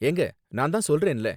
ஏங்க, நான் தான் சொல்றேன்ல